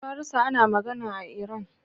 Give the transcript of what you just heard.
Farisa ana magana a Iran.